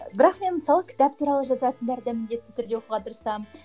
бірақ мен мысалы кітап туралы жазатындарды міндетті түрде оқуға тырысамын